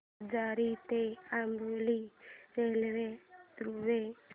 आजरा ते अंबोली रेल्वेगाडी द्वारे